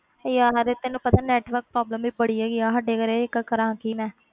ਯਾਰ ਤੈਨੂੰ ਪਤਾ ਹੈ network problem ਵੀ ਬੜੀ ਹੈਗੀ ਆ ਸਾਡੇ ਘਰੇ ਇੱਕ, ਕਰਾਂ ਕੀ ਮੈਂ।